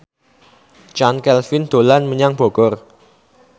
Chand Kelvin dolan menyang Bogor